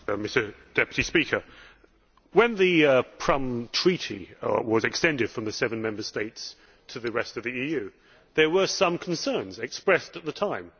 Mr President, when the Prüm Treaty was extended from the seven Member States to the rest of the EU, there were some concerns expressed at the time.